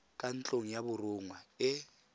kwa ntlong ya borongwa e